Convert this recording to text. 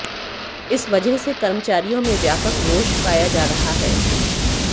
इस वजह से कर्मचारियों में व्यापक रोष पाया जा रहा है